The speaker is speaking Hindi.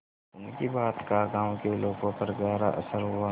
उनकी बात का गांव के लोगों पर गहरा असर हुआ